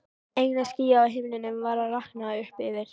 Eina skýið á himninum var að rakna upp yfir